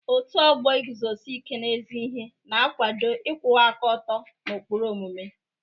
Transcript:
Ọ́tù ọgbọ Ịguzosi Íke n'ezi ihe na-akwado ịkwụwa aka ọtọ na ụkpụrụ omume.